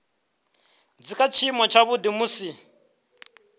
dzi kha tshiimo tshavhuḓi musi